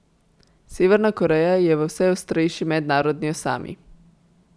Severna Koreja je v vse ostrejši mednarodni osami.